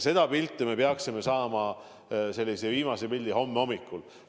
Selle kohta me peaksime saama viimase pildi homme hommikul.